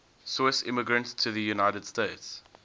swiss immigrants to the united states